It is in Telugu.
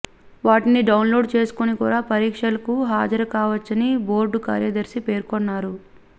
వాటిని డౌన్ లోడ్ చేసుకుని కూడా పరీక్షలకు హాజరుకావచ్చని బోర్డు కార్యదర్శి పేర్కొన్నారు